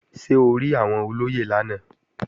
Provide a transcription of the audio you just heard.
Ṣé o rí àwọn olóyè lánàá?